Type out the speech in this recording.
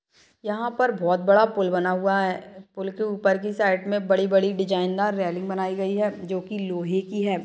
यहाँ पर बहोत बड़ा पुल बना हुआ है पुल के ऊपर की साइड में बड़ी बड़ी डिजाइनदार रेलिंग बनाई गयी है जो की लोहे की है।